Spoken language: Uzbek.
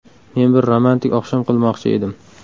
Men bir romantik oqshom qilmoqchi edim.